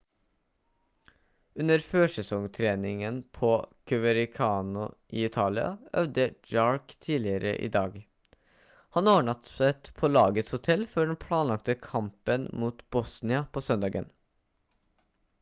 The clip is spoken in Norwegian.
under førsesongtreningen på coverciano i italia øvde jarque tidligere i dag han overnattet på lagets hotell før den planlagte kampen mot bolonia på søndagen